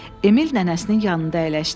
Emil nənəsinin yanında əyləşdi.